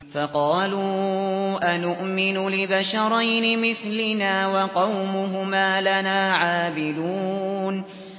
فَقَالُوا أَنُؤْمِنُ لِبَشَرَيْنِ مِثْلِنَا وَقَوْمُهُمَا لَنَا عَابِدُونَ